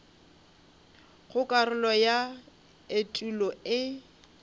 go karolo ya etulo e